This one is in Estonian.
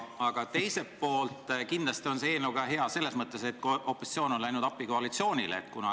Ja see on hea selleski mõttes, et opositsioon on koalitsioonile appi läinud.